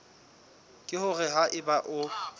ke hore ha eba o